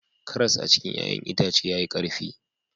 Karas a cikin ya'yan itace yayi karfi